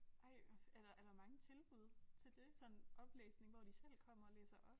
Ej hvor er der er der mange tilbud til det sådan oplæsning hvor de selv kommer og læser op?